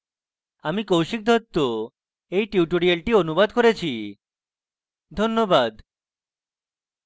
আমি কৌশিক দত্ত এই টিউটোরিয়ালটি অনুবাদ করেছি ধন্যবাদ